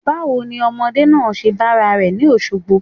Báwo ni ọmọdé náà ṣe bára rẹ̀ ni Òṣogbo?